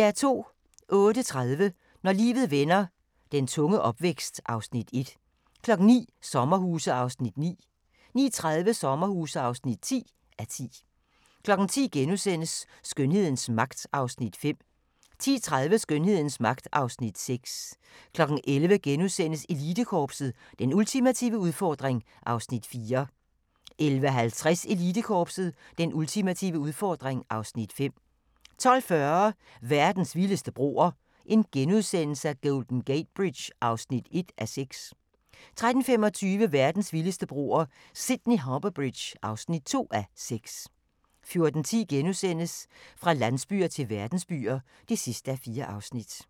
08:30: Når livet vender - den tunge opvækst (Afs. 1) 09:00: Sommerhuse (9:10) 09:30: Sommerhuse (10:10) 10:00: Skønhedens magt (Afs. 5)* 10:30: Skønhedens magt (Afs. 6) 11:00: Elitekorpset – Den ultimative udfordring (Afs. 4)* 11:50: Elitekorpset – Den ultimative udfordring (Afs. 5) 12:40: Verdens vildeste broer – Golden Gate Bridge (1:6)* 13:25: Verdens vildeste broer – Sydney Harbour Bridge (2:6) 14:10: Fra landsbyer til verdensbyer (4:4)*